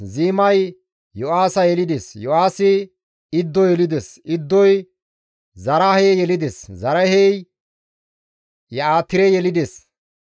Ziimay Yo7aaha yelides; Yo7aahi Iddo yelides; Iddoy Zaraahe yelides; Zaraahey Ye7atire yelides;